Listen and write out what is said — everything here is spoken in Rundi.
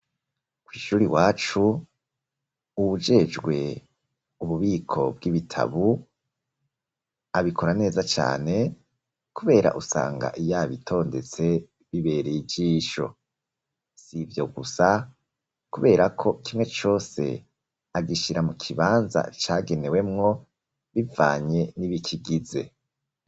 Kwishuri wacu ujejwe ububiko bw'ibitabu abikora neza cane kubera usanga yabitondetse bibereye ijisho sivyo gusa kubera ko kimwe cyose agishyira mu kibanza cagenewemwo bivanye n'ibikigize.